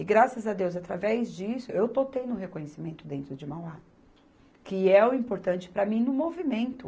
E, graças a Deus, através disso, eu estou tendo reconhecimento dentro de Mauá, que é o importante para mim no movimento.